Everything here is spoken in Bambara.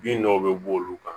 Bin dɔw bɛ bɔ olu kan